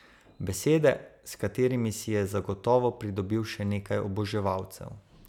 Besede, s katerimi si je zagotovo pridobil še nekaj oboževalcev.